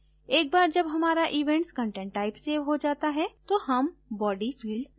एक बार जब हमारा events content type सेव हो जाता है तो हम body field देखेंगे